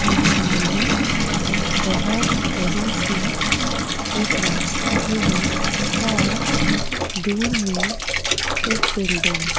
और सामने बहुत बड़ी सी एक रास्ता भी है और दूर में एक बिल्डिंग --